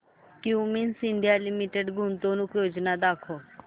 Cummins India Limited गुंतवणूक योजना दाखव